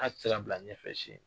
tɛ se ka bila ɲɛfɛ si.